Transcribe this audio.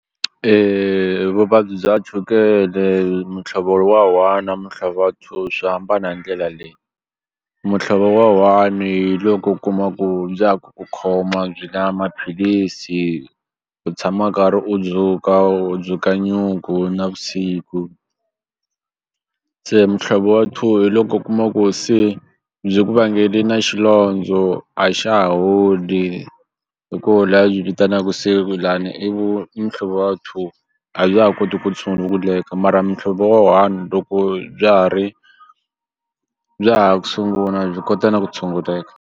v vuvabyi bya chukele muhlovo lo wa one na muhlovo wa two swi hambana hi ndlela leyi muhlovo wa one hi loko u kuma ku bya ha ku ku khoma byi la maphilisi u tshama karhi u dzuka u dzuka nyuku navusiku se muhlovo wa two hi loko u kuma ku se byi ku vangele na xilondzo a xa ha holi hi koho la byi vitanaku se lani i i muhlovo wa two a bya ha koti ku tshunguleka mara muhlovo wa one loko bya ha ri bya ha ku sungula byi kota na ku tshunguleka.